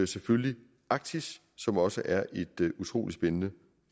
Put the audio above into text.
selvfølgelig arktis som også er et utrolig spændende